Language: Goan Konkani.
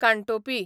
कानटोपी